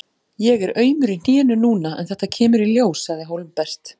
Ég er aumur í hnénu núna en þetta kemur í ljós, sagði Hólmbert.